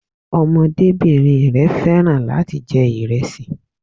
Ọmọdébìnrin rẹ̀ fẹ́ràn láti jẹ ìrẹsì